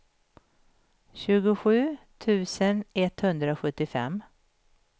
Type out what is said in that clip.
tjugosju tusen etthundrasjuttiofem